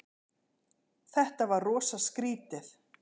Þetta var rosa skrýtið.